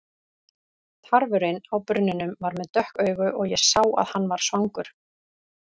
Tarfurinn á brunninum var með dökk augu og ég sá að hann var svangur.